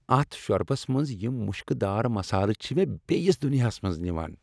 اتھ شۄربس منٛز یم مشکہ دار مسالہٕ چھ مےٚ بیٚیس دنیاہس منٛز نوان۔